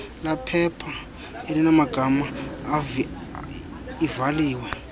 lephepha elinamagama ivaliwe